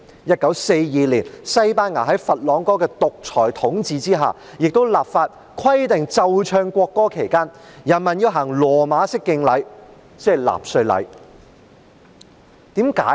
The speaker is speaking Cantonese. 1942年西班牙在佛朗哥的獨裁統治下，亦立法規定奏唱國歌期間，人民要行羅馬式敬禮，即納粹禮。